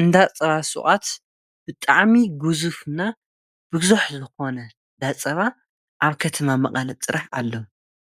እንዳ ፀባ ሽቋት ብጣዕሚ ግዙፍና ብዙሕንዝኾነ ዳፀባ ኣብ ከተማ መቐት ጥራሕ ኣሎ